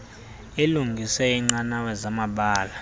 ilungise iinqanawa zamabala